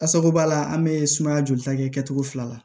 Asako b'a la an bɛ sumaya joli ta kɛcogo fila la